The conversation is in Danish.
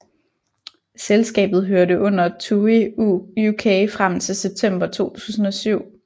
Selskabet hørte under TUI UK frem til september 2007